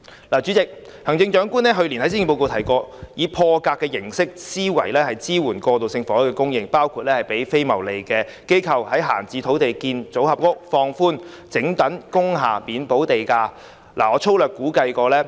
代理主席，行政長官去年在施政報告提及，要以破格思維增加過渡性住屋供應，包括協助非牟利機構研究在閒置土地興建預製組合屋，以及研究讓整幢工廈免補地價改裝為過渡性房屋。